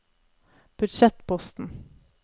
budsjettposten